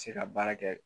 Se ka baara kɛ